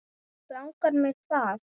Langar mig hvað?